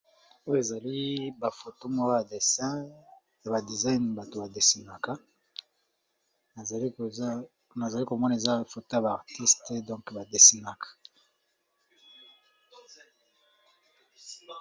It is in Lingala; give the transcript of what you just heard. Oyo ezali bafotomoa ya dessin ya badesign bato ba desinaka nazali komona eza foto ba artiste donk ba desinaka.